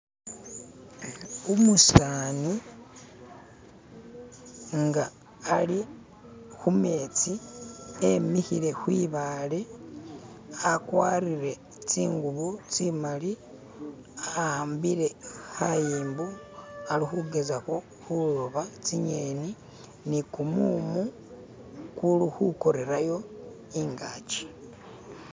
umusani nga ali khumetsi emikhile khwibale akwarile tsingubo tsimaali awaambile khayimbo alikhugezakho khuloba tsing'eni ni kumumu kuli khukorerayo ingaki